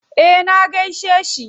Eh na gaishe shi.